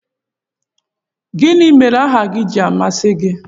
Gịnị mere aha ji amasị gị?